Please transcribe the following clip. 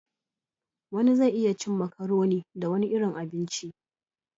Wani zai iya cin macaroni da wani irin abinci